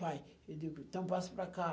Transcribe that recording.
Pai, eu digo, então passa para cá.